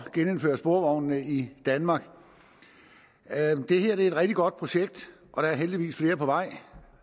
genindføre sporvognene i danmark det her er et rigtig godt projekt og der er heldigvis flere på vej i